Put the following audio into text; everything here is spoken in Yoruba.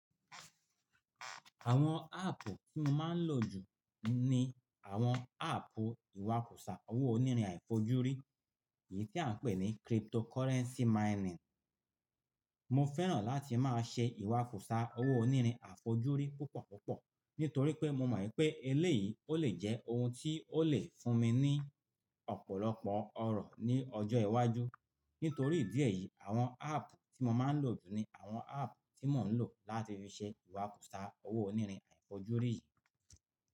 Àwọn áàpù tí mo máa ń lò jù ni àwọn áàpù iwakusa owó onírin àfojúrí, èyí tí à ń pè ní cryptocurrency mining. Mo fẹ́ràn láti máa ṣe iwakusa owó onírin àfojúrí púpọ̀ púpọ̀ nítorí pé mo mọ̀ pé eléyìí ó lè jẹ́ ohun tí ó lè fún mi ní ọ̀pọ̀lọpọ̀ ọrọ̀ ní ọjọ́ iwájú. Nítorí ìdí èyí, àwọn áàpù tí mo máa ń lò jù ni àwọn áàpù tí mò ń lò láti fi ṣe iwakusa owó onírin àfojúrí yìí.